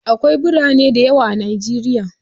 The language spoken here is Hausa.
Akwai birane da yawa a Najeriya.